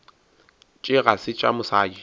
tše ga se tša mosadi